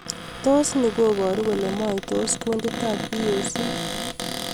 Tos ni koboru kole moitos Kundit ap EAC?